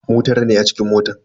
Mu tara ne a cikin motan.